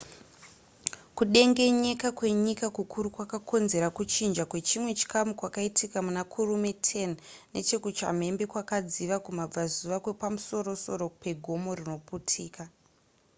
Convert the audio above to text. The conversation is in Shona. kudengenyeka kwenyika kukuru kwakakonzera kuchinja kwechimwe chikamu kwakaitika muna kurume 10 neche kuchambembe kwakadziva kumabvazuva kwepamusorosoro pegomo rinoputika